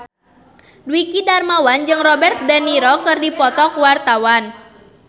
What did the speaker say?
Dwiki Darmawan jeung Robert de Niro keur dipoto ku wartawan